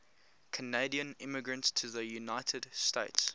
canadian immigrants to the united states